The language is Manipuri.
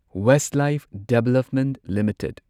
Westlife development limited